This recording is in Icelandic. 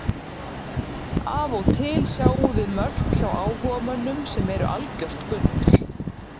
Af og til sjáum við mörk hjá áhugamönnum sem eru algjört gull.